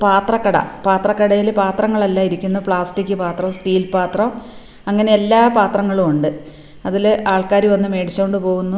പാത്രക്കട പാത്രക്കടയില് പാത്രങ്ങൾ എല്ലാം ഇരിക്കുന്നു പ്ലാസ്റ്റിക് പാത്രം സ്റ്റീൽ പാത്രം അങ്ങനെ എല്ലാ പാത്രങ്ങളും ഉണ്ട് അതിൽ ആൾക്കാര് വന്നു മേടിച്ചോണ്ട് പോകുന്നു.